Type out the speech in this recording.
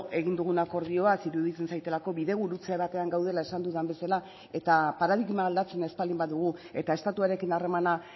egin dugun akordioaz iruditzen zaidalako bidegurutze batean gaudela esan dudan bezala eta paradigma aldatzen ez baldin badugu eta estatuarekin harremana